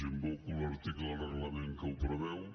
invoco l’article del reglament que ho preveu